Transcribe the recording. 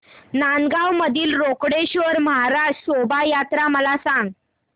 नांदगाव मधील रोकडेश्वर महाराज शोभा यात्रा मला सांग